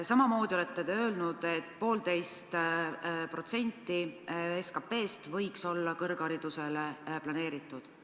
Samamoodi olete öelnud, et poolteist protsenti SKP-st võiks olla kõrgharidusele planeeritud.